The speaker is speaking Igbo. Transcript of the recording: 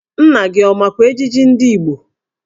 Nna gị ọ makwa ejiji ndị Igbo?